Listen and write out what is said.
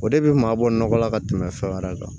O de bɛ maa bɔ nɔgɔ la ka tɛmɛ fɛn wɛrɛ kan